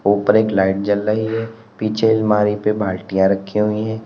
ऊपर एक लाइट जल रही है पीछे अलमारी पे बाल्टियां रखी हुई है।